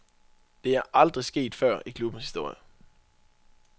Det er aldrig sket før i klubbens historie.